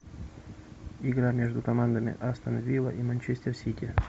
игра между командами астон вилла и манчестер сити